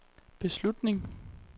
beslutning